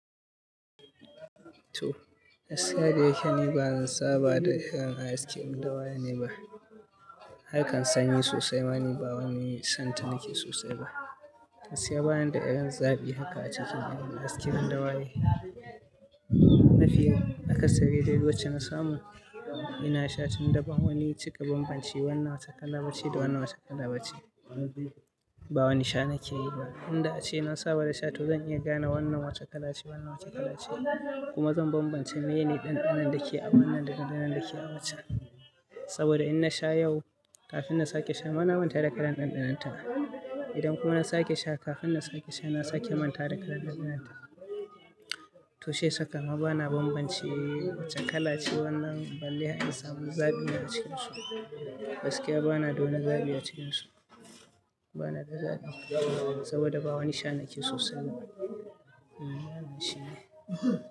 To, gaskiya da yake ni ba zan saba da irin askin dawaya ne ba. Harkan sanyi sosai mane ba wani santa nake sosai ba. Gaskiya bana da irin zaɓi haka a cikin irin askin dawaye. Nafiya, haka siriri da yawa wacce na samu ina sha tun daban wani cika banbance wannan wata kala ba ce da wannan wata kala ba ce. Ba wani sha nake yi ba. Inda ace na saba da sha to zan iya gane wannan wace kala ce wannan wace kala ce kuma zan banbance meyene ɗanɗanon da ke a wannan daga ɗanɗanon da ke a wacce. Saboda in na sha yau kafin na sake sha bana manta da kalan ɗanɗanonta. Idan kuma na sake sha kafin na sake sha na sake manta da kalan ɗanɗanonta. To shiya saka ma bana banbance wace kala ce wannan balle a insamu zaɓi na cikin su. Gaskiya bana dawani zaɓi a cikinsu. Bana da zaɓi saboda ba wani sha nake sosai ba. Mm, wannan shi ne.